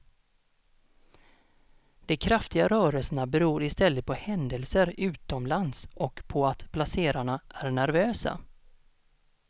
De kraftiga rörelserna beror i stället på händelser utomlands och på att placerarna är nervösa.